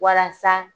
Walasa